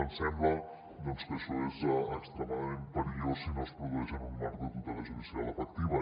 ens sembla que això és extremadament perillós si no es produeix en un marc de tutela judicial efectiva